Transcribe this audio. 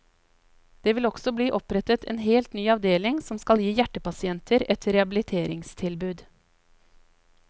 Det vil også bli opprettet en helt ny avdeling som skal gi hjertepasienter et rehabiliteringstilbud.